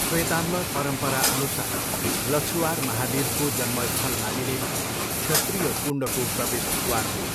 श्वेताम्बर परम्पराअनुसार लछुआर महावीरको जन्मस्थल मानिने क्षत्रीय कुण्डको प्रवेशद्वार हो।